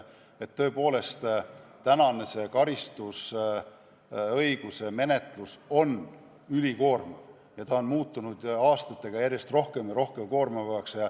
Tõepoolest, tänane karistusõiguse menetlus on ülikoormav ja see on muutunud aastatega järjest rohkem ja rohkem koormavaks.